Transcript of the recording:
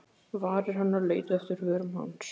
Varir hennar leituðu eftir vörum hans.